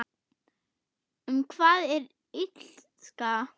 Um hvað er Illska?